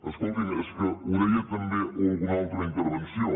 escoltin és que ho deien també en alguna altra intervenció